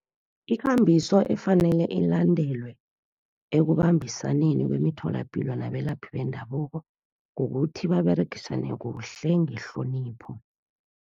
Ikambiso efanele ilandelwe, ekubambisaneni kwemitholapilo nabalaphi bendabuko kukuthi, baberegisane kuhle ngehlonipho.